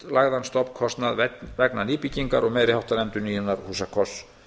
útlagðan stofnkostnað vegna nýbyggingar og meiriháttar endurnýjunar húsakosts